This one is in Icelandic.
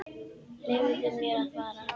Leyfðu mér að fara.